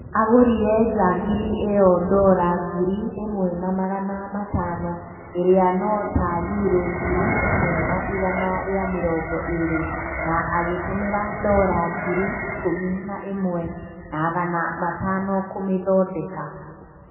Agũrire njagiri ĩyo dora ngiri ĩmwe na magana matano iría no ta yuro ngiri ĩmwe ya igana rĩa mĩrongo ĩrĩ na agĩtũmira dora ngiri ikũmi na ĩmwe naagana matano kũmĩthondeka